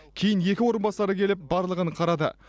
кейін екі орынбасары келіп барлығын қарады